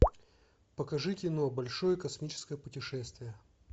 покажи кино большое космическое путешествие